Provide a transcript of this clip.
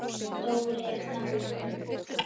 Dóri er dáinn.